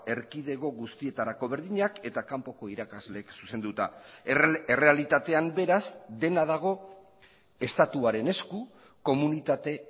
erkidego guztietarako berdinak eta kanpoko irakasleek zuzenduta errealitatean beraz dena dago estatuaren esku komunitate